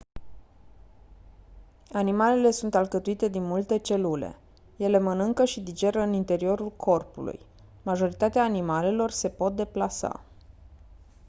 animalele sunt alcătuite din multe celule ele mănâncă și digeră în interiorul corpului majoritatea animalelor se pot deplasa